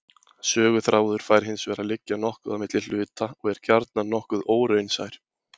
Söguþráður fær hinsvegar að liggja nokkuð á milli hluta og er gjarnan nokkuð óraunsær.